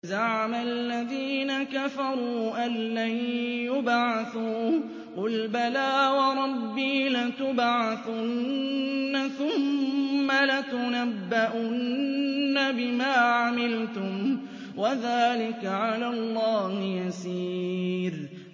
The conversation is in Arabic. زَعَمَ الَّذِينَ كَفَرُوا أَن لَّن يُبْعَثُوا ۚ قُلْ بَلَىٰ وَرَبِّي لَتُبْعَثُنَّ ثُمَّ لَتُنَبَّؤُنَّ بِمَا عَمِلْتُمْ ۚ وَذَٰلِكَ عَلَى اللَّهِ يَسِيرٌ